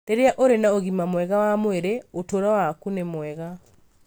Rĩrĩa ũrĩ na ũgima mwega wa mwĩrĩ, ũtũũro waku nĩ mwega.